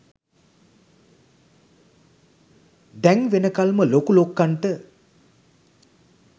දැන් වෙනකල්ම ලොකු ලොක්කන්ට